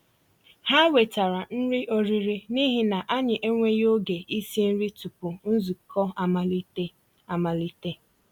Há wètàrà nrí ọ̀rị́rị́ n'íhi nà ànyị́ ènwéghị́ ògé ísi nrí túpụ̀ nzukọ́ amàlítè. amàlítè.